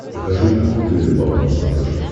покажи охота и рыбалка на смотрешке